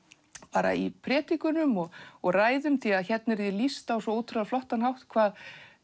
bara í predikunum og og ræðum af því hérna er því lýst á svo ótrúlega flottan hátt hvað